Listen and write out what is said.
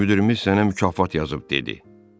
Müdirimiz sənə mükafat yazıb dedi.